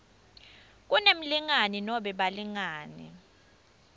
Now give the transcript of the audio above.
kunemlingani nobe balingani